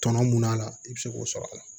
Tɔnɔ mun a la i bɛ se k'o sɔrɔ a la